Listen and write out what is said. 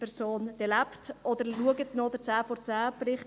Oder schauen Sie sich den Bericht der Sendung «10 vor 10» an.